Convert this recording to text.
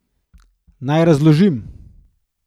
Naj razložim.